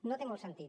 no té molt sentit